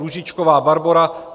Růžičková Barbora